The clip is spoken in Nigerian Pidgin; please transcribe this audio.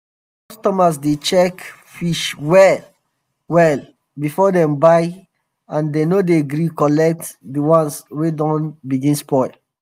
customers dey check fish well well before dem buy and dem no dey gree collect di ones wey don begin spoil.